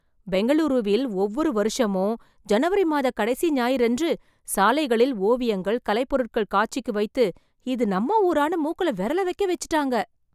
பெங்களூருவில் ஒவ்வொரு வருஷமும் ஜனவரி மாத கடைசி ஞாயிறு அன்று சாலைகளில் ஓவியங்கள், கலைப் பொருட்கள் காட்சிக்குவைத்து இது நம்ம ஊரான்னு மூக்குல விரல வெக்கவெச்சுட்டாங்க‌